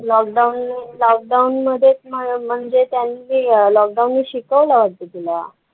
Lockdown ने lockdown मध्ये म्हणजे त्यांनी अं lockdown नी शिकवलं वाटतं तुला?